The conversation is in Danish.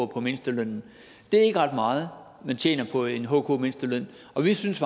på mindstelønnen det er ikke ret meget man tjener på en hk mindsteløn og vi synes